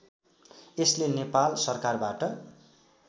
यसले नेपाल सरकारबाट